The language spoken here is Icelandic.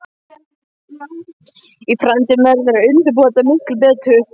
Í framtíðinni verður að undirbúa þetta miklu betur.